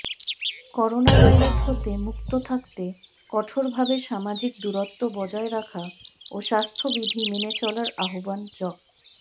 coronavirus হতে মুক্ত থাকতে কঠোরভাবে সামাজিক দূরত্ব বজায় রাখা ও স্বাস্থ্যবিধি মেনে চলার আহ্বান জ